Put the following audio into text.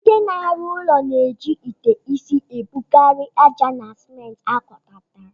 Ndị na-arụ ụlọ na-eji ite isi ebugharị ájá na simenti agwakọtara.